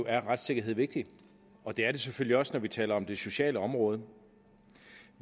er retssikkerhed vigtig og det er det selvfølgelig også når vi taler om det sociale område